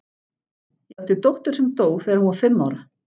Ég átti dóttur sem dó þegar hún var fimm ára.